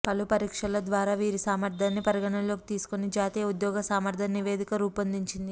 పలు పరీక్షల ద్వారా వీరి సామర్థ్యాన్ని పరిగణలోకి తీసుకొని జాతీయ ఉద్యోగ సామర్థ్యం నివేదిక రూపొందించింది